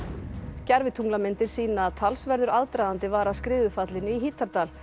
gervitunglamyndir sýna að talsverður aðdragandi var að skriðufallinu í Hítardal